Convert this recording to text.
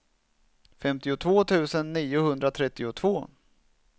femtiotvå tusen niohundratrettiotvå